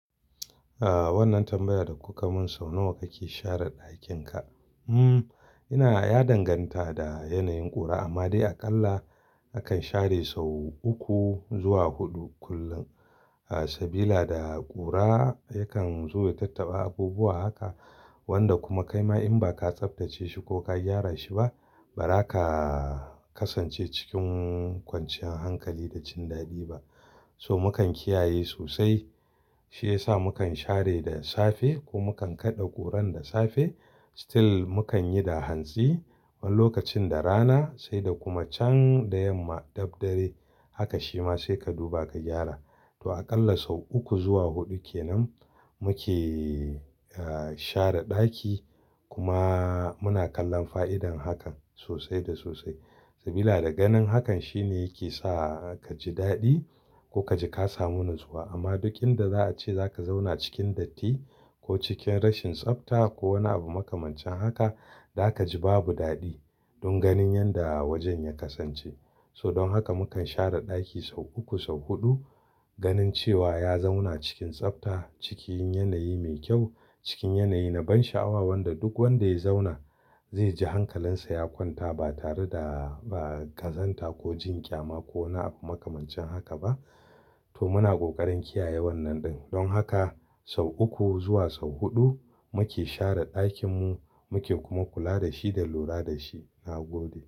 Ah, wannan tambayar da kuka mun sau nawa kake share ɗakin ka? Hmm, ina ya danganta da yanayin ƙura amma dai aƙalla akan share sau uku zuwa huɗu kullum. Sabila da ƙura yakan zo ya tattaɓa abubuwa haka wanda kuma kaima in ba ka tsaftace shi ko ka gyara shi ba, ba za ka kasance cikin kwanciyar hankali da jin daɗi ba. So mukan kiyaye sosai, shi yasa mu kan share da safe ko mu kan kaɗa ƙuran da safe. Still mu kan yi da hantsi wani lokacin da rana sai da kuma can da yamma dabdare. Haka shi ma sai ka duba ka gyara. To aƙalla sau uku zuwa huɗu kenan muke, ah, share ɗaki. Kuma muna kallon fa'idar hakan sosai da sosai. Sabila da ganin hakan shi ne yake sa ka ji daɗi ko ka ji ka samu natsuwa. Amma duk inda za a ce za ka zauna cikin datti ko cikin rashin tsafta ko wani abu makamancin haka, za ka ji babu daɗi don ganin yadda wajen ya kasance. So don haka mukan share ɗaki sau uku sau huɗu ganin cewa ya zauna cikin tsafta, cikin yanayi mai kyau, cikin yanayi na ban sha'awa wanda duk wanda ya zauna zai ji hankalinsa ya kwanta ba tare da, ba gazanta ko jin ƙyama ko wani abu makamancin haka ba. To muna ƙoƙarin kiyaye wannan ɗin. Don haka sau uku zuwa sau huɗu muke share ɗakinmu, muke kuma kula da shi da lura da shi. Na gode.